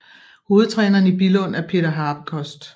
Hovedtræneren i Billund er Peter Habekost